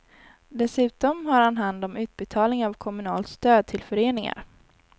Dessutom har han hand om utbetalningen av kommunalt stöd till föreningar.